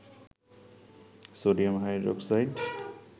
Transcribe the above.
sodium hydroxide